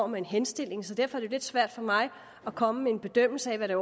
med en henstilling så derfor er det lidt svært for mig at komme med en bedømmelse af det